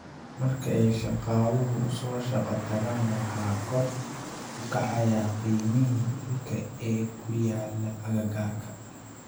Marka ay shaqaaluhu u soo shaqo tagaan, waxaa kor u kacaya qiimihii dhulka ee ku yaalla agagaarka.